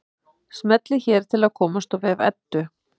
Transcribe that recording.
Smellið hér til að komast á vef Eddu.